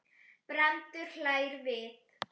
Brandur hlær við.